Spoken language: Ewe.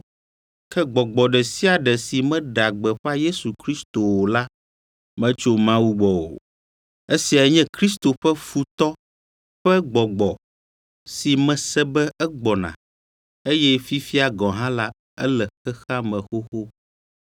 Ke Gbɔgbɔ ɖe sia ɖe si meɖea gbeƒã Yesu Kristo o la metso Mawu gbɔ o. Esiae nye Kristo ƒe futɔ ƒe gbɔgbɔ si mese be egbɔna eye fifia gɔ̃ hã la ele xexea me xoxo.